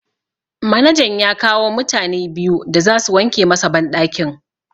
Manajan ya kawo mutane biyu da zasu wanke masa banɗakin.